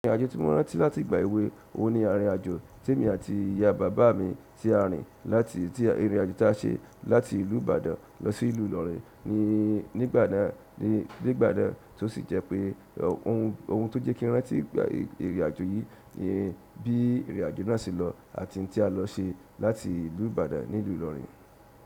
Ìrìnàjò tí mo rántí láti ìgbà èwe òun ni ìrìnàjò tí èmi àti ìyá bàbá mi ti à rìn láti, tí ìrìnàjò tí a ṣe láti ìlú Ìbàdàn lọ sí ìlú Ìlọrin ní, nígbà náà, nígbà náà tó sì jẹ́ pé ohun, ohun tó jẹ́ kí n rántí ìrìnàjò yìí ni bí ìrìnàjò náà ṣe lọ àti tí a lọ ṣe láti ìlú Ìbàdàn ní ìlú Ìlọrin.